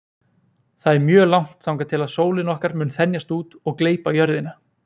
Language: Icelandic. Það er mjög langt þangað til að sólin okkar mun þenjast út og gleypa jörðina.